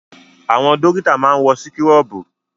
Àwọn dọ́kítà máa ń wọ síkúrọ̀bù.